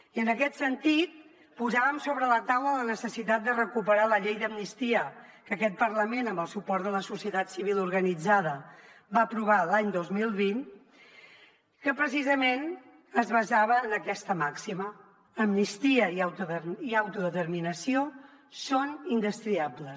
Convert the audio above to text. i en aquest sentit posàvem sobre la taula la necessitat de recuperar la llei d’amnistia que aquest parlament amb el suport de la societat civil organitzada va aprovar l’any dos mil vint que precisament es basava en aquesta màxima amnistia i autodeterminació són indestriables